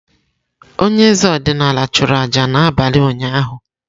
Onye eze ọdịnala chụrụ aja n’abalị ụnyahụ.